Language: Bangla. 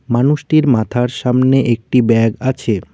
মানুষটির মাথার সামনে একটি ব্যাগ আছে।